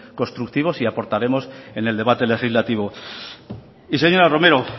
constructivos y aportaremos en el debate legislativo y señora romero